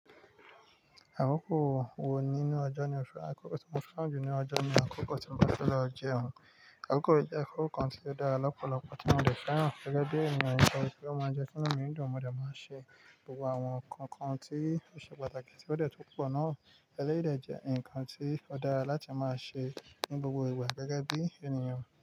Àkókò wo nínú ọjọ́ ni o fẹ́ràn jù? Mo fẹ́ràn jù ní ọjọ́ ni àkókò tí mo ti fẹ́ lọ jẹun. Àkókò ìjẹun kò kán ti dára lọ́pọ̀lọpọ̀ tí mo ti fẹ́ràn. Gẹ́gẹ́ bí ènìyàn nìkan ni kí ó máa jẹ́ kí ọmọ ènìyàn nìkan mo ti máa ń ṣe gbogbo àwọn nǹkan tí o ṣe pàtàkì tí ó ti wọ́pọ̀ náà. Ẹlẹ́yìí de jẹ́ ǹkan tí ó dára láti máa ṣe ní gbogbo ìgbà gẹ́gẹ́ bí ènìyàn.